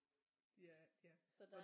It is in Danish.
De er de er